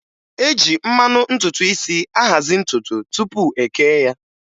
E ji mmanụ ntutu isi ahazị ntutu tụpụ e kee ya